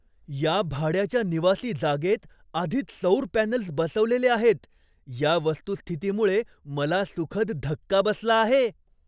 या भाड्याच्या निवासी जागेत आधीच सौर पॅनल्स बसवलेले आहेत या वस्तुस्थितीमुळे मला सुखद धक्का बसला आहे.